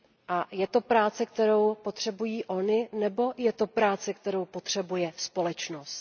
A je to práce, kterou potřebují ony, nebo je to práce, kterou potřebuje společnost?